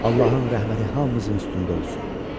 Allahın rəhməti hamımızın üstündə olsun.